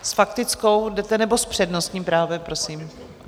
S faktickou jdete, nebo s přednostním právem prosím?